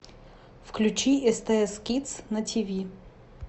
включи стс кидс на ти ви